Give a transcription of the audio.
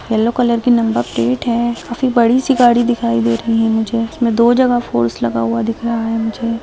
Yellow colour की number plate है काफी बड़ी सी गाड़ी दिखाई दे रही है मुझे इसमें दो जगह फ़ोर्स लगा हुआ दिख रहा है मुझे।